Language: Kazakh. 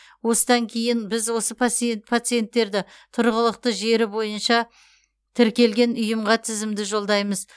осыдан кейін біз осы пациенттерді тұрғылықты жері бойынша тіркелген ұйымға тізімді жолдаймыз